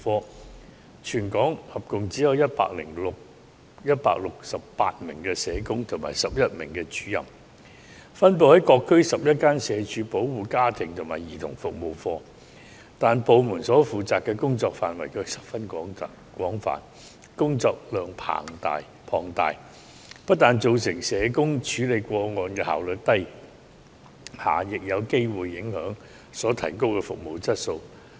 該部門在全港合共只有168名社工及11名主任，分布於各區11間社署保護家庭及兒童服務課，但部門所負責的工作範圍卻十分廣泛，工作量龐大，不但造成社工處理個案的效率低下，亦有機會影響所提供的服務質素。